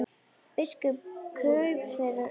Biskup kraup fyrir altari.